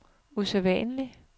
usædvanlig